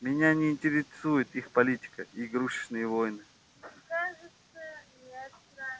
меня не интересует их политика и игрушечные войны